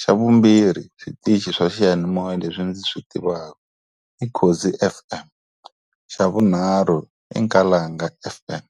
Xa vumbirhi switichi swa xiyanimoya leswi ndzi swi tivaka i Khozi F_M, xa vunharhu i Nkalanga F_M.